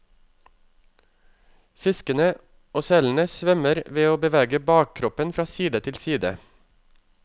Fiskene og selene svømmer ved å bevege bakkroppen fra side til side.